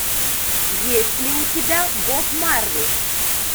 есть ли у тебя боб марли